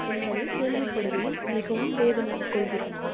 என்பதை கேள்விப்படுகையில் மிகவும் வேதனை கொள்கிறேன்.